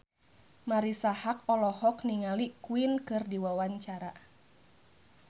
Marisa Haque olohok ningali Queen keur diwawancara